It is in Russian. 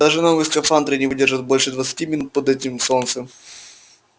даже новые скафандры не выдержат больше двадцати минут под этим солнцем